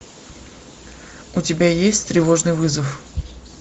у тебя есть тревожный вызов